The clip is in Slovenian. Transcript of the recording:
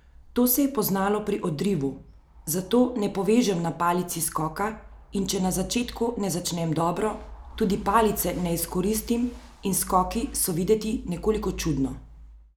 To se je poznalo pri odrivu, zato ne povežem na palici skoka in če na začetku ne začnem dobro, tudi palice ne izkoristim in skoki so videti nekoliko čudno.